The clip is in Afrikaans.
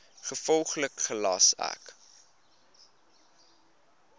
gevolglik gelas ek